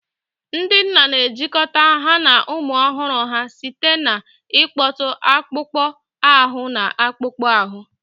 Ndị nna na-ejikọta ha na ụmụ ọhụrụ ha site n'ịkpọtụ akpụkpọ ahụ na akpụkpọ ahụ.